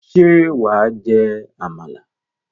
Ṣé wà á jẹ àmàlà?